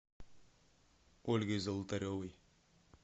ольгой золотаревой